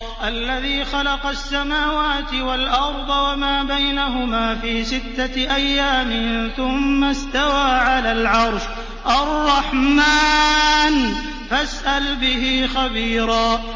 الَّذِي خَلَقَ السَّمَاوَاتِ وَالْأَرْضَ وَمَا بَيْنَهُمَا فِي سِتَّةِ أَيَّامٍ ثُمَّ اسْتَوَىٰ عَلَى الْعَرْشِ ۚ الرَّحْمَٰنُ فَاسْأَلْ بِهِ خَبِيرًا